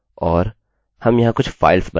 और हम यहाँ कुछ फाइल्स बनाएँगे